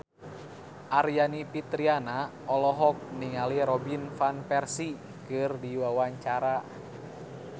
Aryani Fitriana olohok ningali Robin Van Persie keur diwawancara